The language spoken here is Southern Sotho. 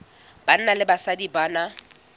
banna le basadi ba na